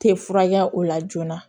Tɛ furakɛ o la joona